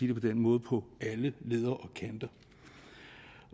det på den måde på alle leder